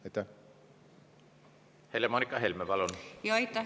Aitäh, hea eesistuja!